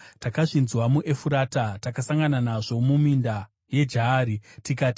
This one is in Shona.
Takazvinzwa muEfurata, takasangana nazvo muminda yeJaari tikati,